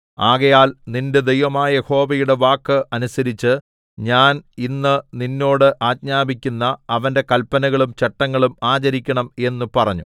ആകയാൽ നിന്റെ ദൈവമായ യഹോവയുടെ വാക്ക് അനുസരിച്ച് ഞാൻ ഇന്ന് നിന്നോട് ആജ്ഞാപിക്കുന്ന അവന്റെ കല്പനകളും ചട്ടങ്ങളും ആചരിക്കണം എന്നു പറഞ്ഞു